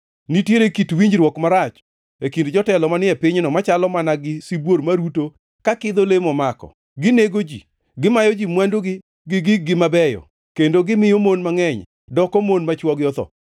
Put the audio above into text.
Nitiere kit winjruok marach e kind jotelo manie pinyno machalo mana gi sibuor maruto to kidho le momako; ginego ji, gimayo ji mwandugi gi gig-gi mabeyo kendo gimiyo mon mangʼeny doko mon ma chwogi otho.